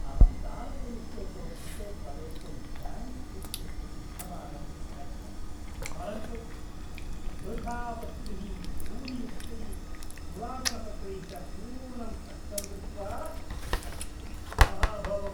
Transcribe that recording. अहं तालकयुक्ते कोष्ठके प्रवेष्टुं बैङ्क् इत्यस्य पृष्ठभागम् अगच्छं परन्तु वृथा वस्तुभिः धूलियुक्तै पुरातनपत्रैः च पूर्णं कक्षं दृष्ट्वा अहं क्षुब्धः अभवम्।